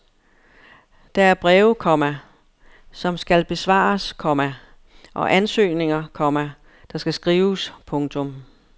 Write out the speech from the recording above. Der er breve, komma som skal besvares, komma og ansøgninger, komma der skal skrives. punktum